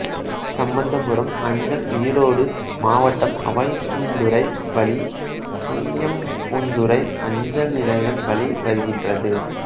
சம்பந்தபுரம் அஞ்சல் ஈரோடு மாவட்டம் அவல்பூந்துறை வழி துய்யம்பூந்துறை அஞ்சல் நிலையம் வழி வருகின்றது